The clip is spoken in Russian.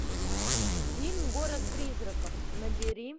фильм город призраков набери